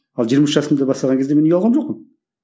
ал жиырма үш жасымда бастаған кезде мен ұялған жоқпын